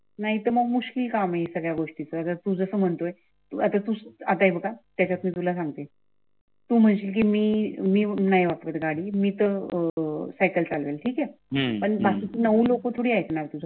नाहीतर मुश्किल काम आहे. सगळ्या गोष्टीचं जर तुमचं म्हणतोयआता तू तुला सांगते तू म्हणशील कि मी नाही वापरत गाडी मी तर अं सायकल चालवेन ठीक आहे बाकिचे नऊ लोक थोडी आयकनार तुझे